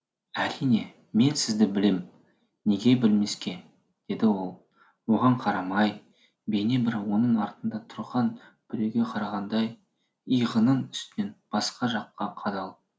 әрине мен сізді білем неге білмеске деді ол оған қарамай бейне бір оның артында тұрған біреуге қарағандай иығының үстінен басқа жаққа қадалып